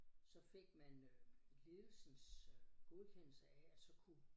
Så fik man øh ledelsens øh godkendelse af at så kunne